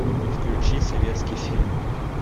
включи советский фильм